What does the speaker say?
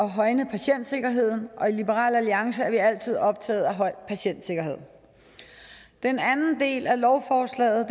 at højne patientsikkerheden og i liberal alliance er vi altid er optaget af høj patientsikkerhed den anden del af lovforslaget